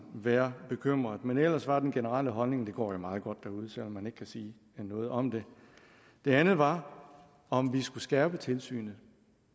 være bekymret men ellers var den generelle holdning det går meget godt derude selv om man ikke kan sige noget om det det andet var om vi skulle skærpe tilsynet